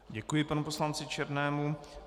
Děkuji panu poslanci Černému.